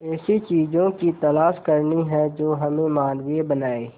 ऐसी चीजों की तलाश करनी है जो हमें मानवीय बनाएं